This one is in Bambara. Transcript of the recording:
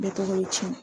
Bɛɛ tɔgɔ ye tiɲɛ